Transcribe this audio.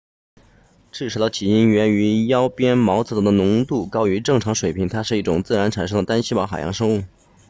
赤潮的起因源于腰鞭毛藻的浓度高于正常水平它是一种自然产生的单细胞海洋生物